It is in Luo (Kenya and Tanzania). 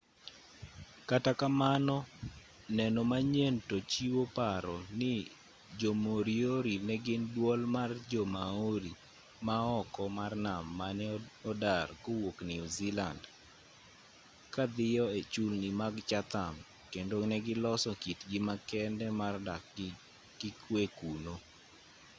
kata kamano neno manyien to chiwo paro ni jo-moriori ne gin duol mar jo-maori ma oko mar nam mane odar kowuok new zealand ka dhiyo e chulni mag chatham kendo ne giloso kitgi makende mar dak gi kwe kuno